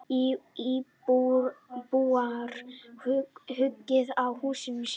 Íbúar hugi að húsum sínum